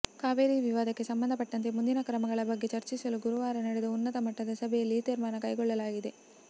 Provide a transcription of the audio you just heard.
ಕಾವೇರಿ ವಿವಾದಕ್ಕೆ ಸಂಬಂಧಪಟ್ಟಂತೆ ಮುಂದಿನ ಕ್ರಮಗಳ ಬಗ್ಗೆ ಚರ್ಚಿಸಲು ಗುರುವಾರ ನಡೆದ ಉನ್ನತ ಮಟ್ಟದ ಸಭೆಯಲ್ಲಿ ಈ ತೀರ್ಮಾನ ಕೈಗೊಳ್ಳಲಾಗಿದೆ